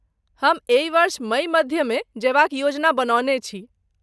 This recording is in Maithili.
हम एहि वर्ष मइ मध्यमे जयबाक योजना बनौने छी।